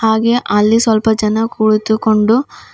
ಹಾಗೆ ಅಲ್ಲಿ ಸ್ವಲ್ಪ ಜನ ಕುಳಿತುಕೊಂಡು--